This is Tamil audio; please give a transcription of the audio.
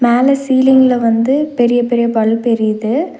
மேல சீலிங்ல வந்து பெரிய பெரிய பல்ப் எரியுது.